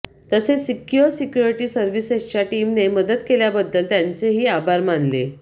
तसेच secure security सर्व्हिसेसच्या टिमने मदत केल्याबद्दल त्यांचे ही आभार मानले